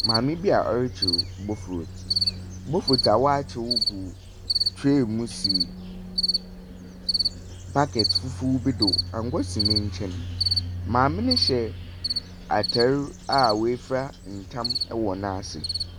Maame bi a ɔrekyew bofurootu. Bofurootu a wɔakyew gu tray mu si bucket fufuo bi so, anwa si ne nkyɛn. Maame no hyɛ atar a woefura tam wɔ n'ase.